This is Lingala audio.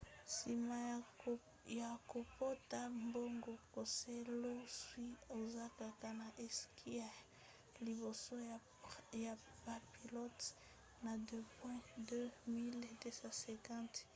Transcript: nsima ya kopota mbango keselowski aza kaka na esika ya liboso ya bapilote na bapoint 2 250